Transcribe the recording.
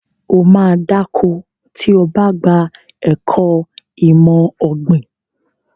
Ó ma dá ko tí o bá ka ẹ̀kọ́ ìmọ̀ ọ̀gbìn